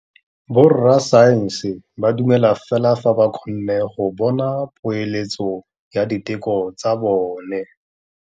Borra saense ba dumela fela fa ba kgonne go bona poeletsô ya diteko tsa bone.